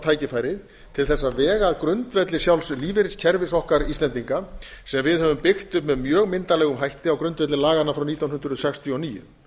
tækifærið til þess að vega að grundvelli sjálfs lífeyriskerfis okkar íslendinga sem við höfum byggt upp með mjög myndarlegum hætti á grundvelli laganna frá nítján hundruð sextíu og níu